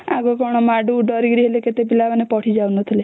ଆଗେ କଣ ମାଡକୁ ଡ଼ରିକି କେତେ ପିଲା ମାନେ ପଢି ଯାଉ ନଥିଲେ